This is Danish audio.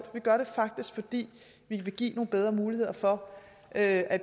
vi gør det faktisk fordi vi vil give nogle bedre muligheder for at at